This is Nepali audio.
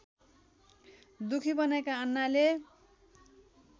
दुखी बनेका अन्नाले